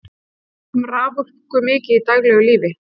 við notum raforku mikið í daglegu lífi